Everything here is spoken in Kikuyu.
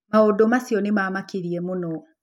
Maũndũ macio nĩ mamakirie mũno.